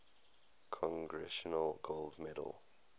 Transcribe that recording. congressional gold medal